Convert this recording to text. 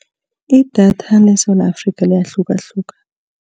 Idatha leSewula Afrika liyahlukahluka.